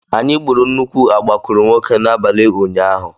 Anyị gburu nnukwu agbakụrụnwokē n'abalị ụnyaahụ.